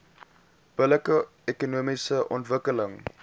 billike ekonomiese ontwikkeling